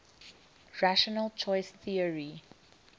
rational choice theory